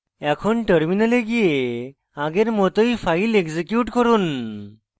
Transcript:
এখন terminal গিয়ে আগের মতই file execute করুন